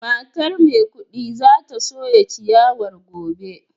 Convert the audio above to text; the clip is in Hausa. Matar maikudi za ta soya ciyawar gobe